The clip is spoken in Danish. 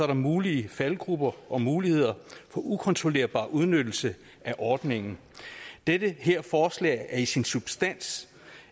der mulige faldgruber og muligheder for ukontrollerbar udnyttelse af ordningen det her forslag er i sin substans